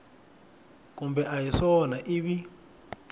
kumbe a hi swona ivi